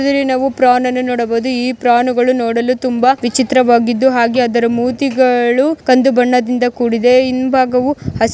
ನಾವು ಪ್ರಾನ್ ಅನ್ನು ನೋಡಬಹುದು ಈ ಪ್ರಾನ್ಗಳು ನೋ ಡಲು ತುಂಬಾ ವಿಚಿತ್ರ ವಾಗಿದ್ದು ಹಾಗೆ ಅದರ ಮೂತಿಗಳು ಕಂದು ಬಣ್ಣದಿಂದ ಕೂಡಿದೆ. ಹಿಂಬಾಗವು ಹಸಿ --